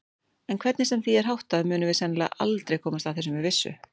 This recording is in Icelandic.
En hvernig sem því er háttað munum við sennilega aldrei komast að þessu með vissu.